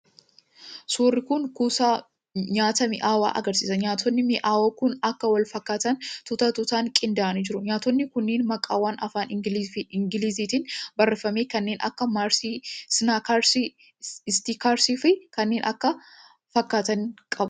Suurri kun kuusaa nyaata mi'aawaa agarsiisa. Nyaatotni mi'awoo kun akka wal fakkaatanitti tuuta tuutan qindaa'anii jiru. Nyaatotni kunneen maqaawwan afaan ingiliiziitiin barreeffame kanneen akka: maarsi, siniikers, ekistiraa fi kanneen kana fakkaatanii qabu.